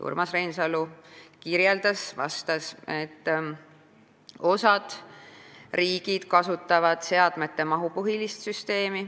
Urmas Reinsalu vastas, et osa riike kasutab seadmete mahupõhist süsteemi.